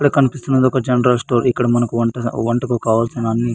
ఇక్కడ మనకి ఒక జనరల్ స్టోర్ కనిపిస్తున్నాయి ఇక్కడ అన్ని దొరకతాయి --